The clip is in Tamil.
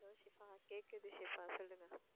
hello ஷிபா கேக்குது ஷிபா